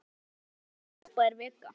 Þetta hefur verið frábær vika.